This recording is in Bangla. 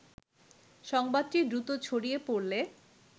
সংবাদটি দ্রুত ছড়িয়ে পড়লে